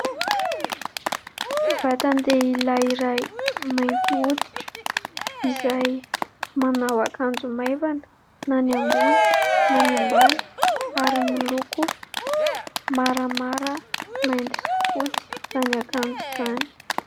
Vatandehilahy iray mainty hoditra izay manao akanjo maivana na ny ambony na ny ambany ary miloko maramara, mainty sy fotsy izany akanjo izany.